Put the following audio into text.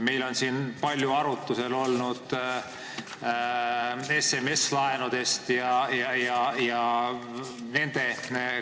Meil on siin palju arutusel olnud SMS-laenude ja nende kaitse teema.